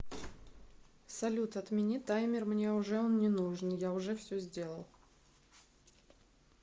салют отмени таймер мне уже он не нужен я уже все сделал